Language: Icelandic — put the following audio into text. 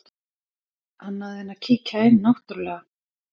Annað en að kíkja inn náttúrlega.